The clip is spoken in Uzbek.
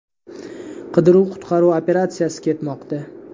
Qidiruv-qutqaruv operatsiyasi ketmoqda.